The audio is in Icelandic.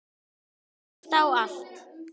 Hlusta á allt!!